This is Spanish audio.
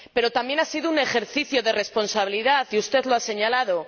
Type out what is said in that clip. Pero también ha sido un ejercicio de responsabilidad, y usted lo ha señalado